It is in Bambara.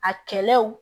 A kɛlɛw